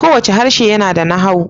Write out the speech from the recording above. Kowane harshe yana da nahawu